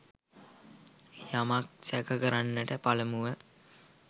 යමක් සැක කරන්නට පළමුව